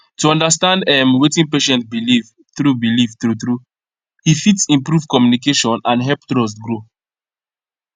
to understand ehm wetin patient believe true believe true true he fit improve communication and help trust grow